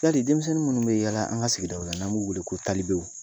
Hali denmisɛnnin minnu bɛ yaala an ka sigidaw la n'an b'u wele ko talibew